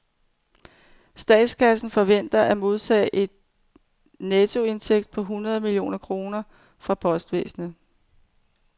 Statskassen forventer at modtage en nettoindtægt på hundrede millioner kroner fra postvæsenet.